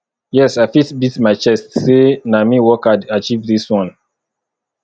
yes i fit beat my chest sey na me work hard achieve dis one